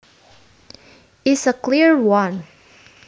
is a clear one